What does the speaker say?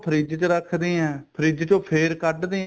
fridge ਚ ਰੱਖਦੇ ਆ ਫ੍ਰਿਜ ਚੋ ਫੇਰ ਕੱਡਦੇ